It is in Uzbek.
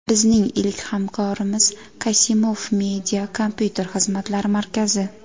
Bizning ilk hamkorimiz "Kasimoof media" kompyuter xizmatlari markazi.